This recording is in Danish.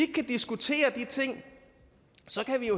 kan diskutere de ting så kan vi